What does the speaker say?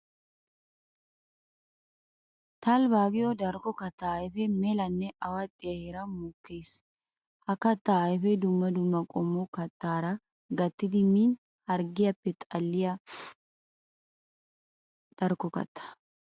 Talbba giyo darkko katta ayfe melanne awaxxiya heeran mokkiis. Ha katta ayfe dumma dumma qommo kattara gattiddi min harggiyaappe xalliya darkko katta.